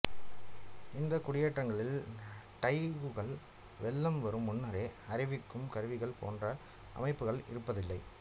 இந்த குடியேற்றங்களில் டைககுகள் வெள்ளம் வரும் முன்னரே அறிவிக்கும் கருவிகள் போன்ற அமைப்புகள் இருப்பதில்லை